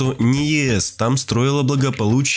не ест там строила блага